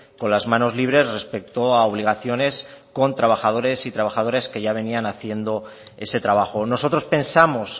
con las manos libres respecto a obligaciones con trabajadores y trabajadoras que ya venían haciendo ese trabajo nosotros pensamos